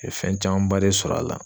fɛn camanba de sɔr'a la